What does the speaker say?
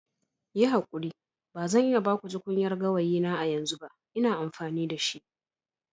Yi hakuri ba zan iya ba ku tukunyar gawayi na a yanzu ba. Ina amfani da shi.